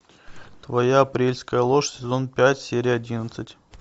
твоя апрельская ложь сезон пять серия одиннадцать